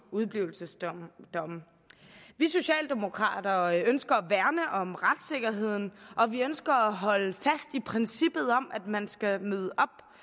udeblivelsesdomme vi socialdemokrater ønsker at værne om retssikkerheden og vi ønsker at holde fast i princippet om at man skal møde